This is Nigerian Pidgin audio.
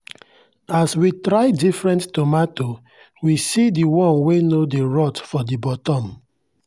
as we try different tomato we see the one wey no dey rot for the bottom.